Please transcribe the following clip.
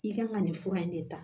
I kan ka nin fura in de ta